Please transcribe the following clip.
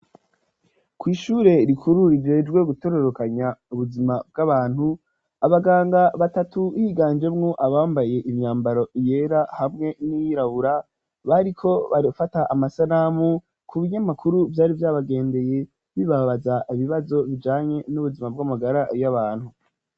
Ko'ishure rikuru rigejwe gutororokanya ubuzima bw'abantu abaganga batatu higanjemwo abambaye imyambaro yera hamwe n'irabura bariko bafata amasanamu ku binyamakuru vyari vyabagendeye bibabaza ibibazo bijanye n'ubuzima bw'amugara y'abantu.